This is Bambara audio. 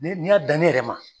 Ne n'i y'a dan ne yɛrɛ ma